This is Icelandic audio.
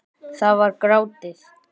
Það var grátið!